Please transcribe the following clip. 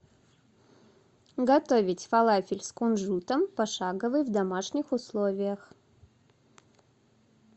готовить фалафель с кунжутом пошаговый в домашних условиях